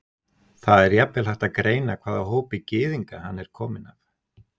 Það er jafnvel hægt að greina hvaða hópi gyðinga hann er kominn af.